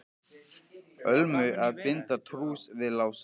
Ölmu að binda trúss við Lása.